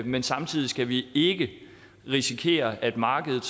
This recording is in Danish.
men samtidig skal vi ikke risikere at markedet